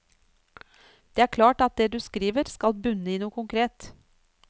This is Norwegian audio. Det er klart at det du skriver skal bunne i noe konkret.